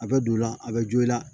A bɛ don i la a bɛ jo i la